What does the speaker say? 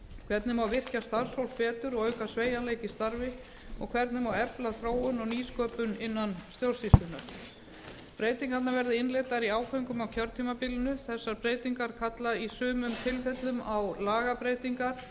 hvernig má virkja starfsfólk betur og auka sveigjanleika í starfi hvernig má efla þróun og nýsköpun innan stjórnsýslunnar breytingarnar verða innleiddar í áföngum á kjörtímabilinu þessar breytingar kalla í sumum tilfellum á lagabreytingar